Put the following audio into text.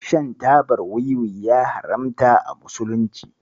Shan tabar wiwi ya haramta a musulunci.